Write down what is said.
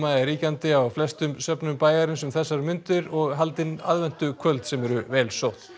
er ríkjandi á flestum söfnum bæjarins um þessar mundir og haldin aðventukvöld sem eru vel sótt